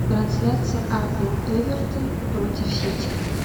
трансляция апл эвертон против сити